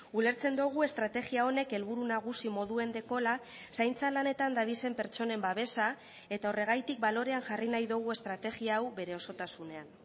ulertzen dugu estrategia honek helburu nagusi moduen dekola zaintza lanetan dabizen pertsonen babesa eta horregatik balorean jarri nahi dugu estrategia hau bere osotasunean